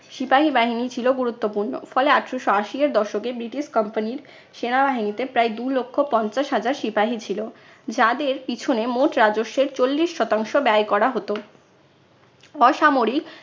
সিপাহী বাহিনী ছিল গুরুত্বপূর্ণ। ফলে আঠারশো আশি এর দশকে ব্রিটিশ company র সেনাবাহিনীতে প্রায় দু লক্ষ পঞ্চাশ হাজার সিপাহী ছিল। যাদের পিছনে মোট রাজস্বের চল্লিশ শতাংশ ব্যয় করা হতো। অসামরিক